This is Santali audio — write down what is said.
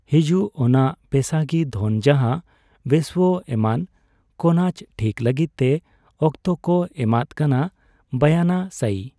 ᱦᱤᱡᱩᱜ ᱾ ᱚᱱᱟ ᱯᱮᱥᱟᱜᱤ ᱫᱷᱚᱱ ᱡᱟᱦᱟᱸ ᱣᱮᱥᱷᱭᱚ ᱮᱢᱟᱱ ᱠᱚ ᱱᱟᱪ ᱴᱷᱤᱠ ᱞᱟᱹᱜᱤᱫ ᱛᱮ ᱚᱠᱛᱚ ᱠᱚ ᱮᱢᱟᱫ ᱠᱟᱱᱟ᱾ ᱵᱟᱭᱟᱱᱟ᱾ ᱥᱟᱭᱤ᱾